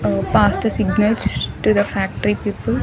A past signals to the factory people.